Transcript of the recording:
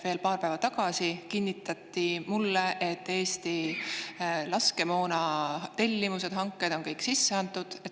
Veel paar päeva tagasi kinnitati mulle, et Eesti laskemoonatellimused ja ‑hanked on kõik sisse antud.